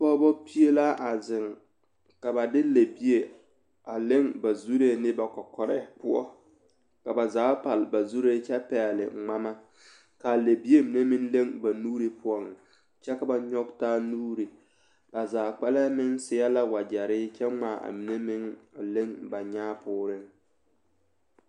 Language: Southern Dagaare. Pɔgeba pie la a zeŋ ka ba de lɛbie a leŋ ba zuree ne ba kɔkɔrɛɛ poɔ ka ba zaa pale ba zuree kyɛ pɛgle ŋmama k,a lɛbie mine meŋ leŋ ba nuuri poɔ kyɛ ka ba nyɔge taa nuuri ba zaa kpɛlɛŋ meŋ seɛ la wagyɛre kyɛ ŋmaa a mine meŋ a leŋ ba nyaa poore.